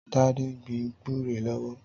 Tade n gbin gbùré lọwọ